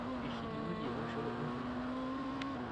Eishiliwueki eoshoto enkukuo